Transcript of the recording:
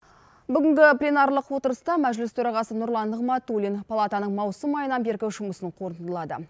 бүгінгі пленарлық отырыста мәжіліс төрағасы нұрлан нығматулин палатаның маусым айынан бергі жұмысын қорытындылады